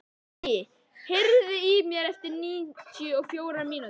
Bjarki, heyrðu í mér eftir níutíu og fjórar mínútur.